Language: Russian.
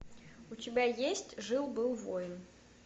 у тебя есть жил был воин